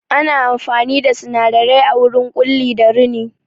Ana amfani da sinadarai a wurin Ƙulli da rini